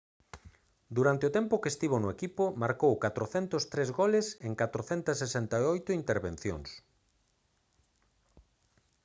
durante o tempo que estivo no equipo marcou 403 goles en 468 intervencións